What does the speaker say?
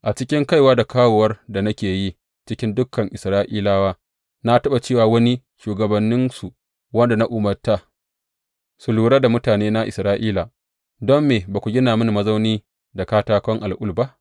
A cikin kaiwa da kawowar da nake yi cikin dukan Isra’ilawa, na taɓa ce wa wani shugabanninsu wanda na umarta su lura da mutanena Isra’ila, Don me ba ku gina mini mazauni da katakon al’ul ba?